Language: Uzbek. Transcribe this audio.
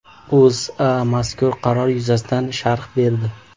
O‘zA mazkur qaror yuzasidan sharh berdi .